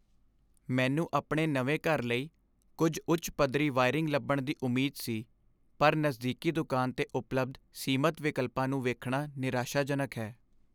ਮੈਨੂੰ ਆਪਣੇ ਨਵੇਂ ਘਰ ਲਈ ਕੁਝ ਉੱਚ ਪੱਧਰੀ ਵਾਇਰਿੰਗ ਲੱਭਣ ਦੀ ਉਮੀਦ ਸੀ, ਪਰ ਨਜ਼ਦੀਕੀ ਦੁਕਾਨ 'ਤੇ ਉਪਲਬਧ ਸੀਮਤ ਵਿਕਲਪਾਂ ਨੂੰ ਵੇਖਣਾ ਨਿਰਾਸ਼ਾਜਨਕ ਹੈ।